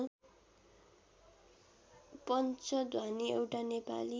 पञ्चध्वनी एउटा नेपाली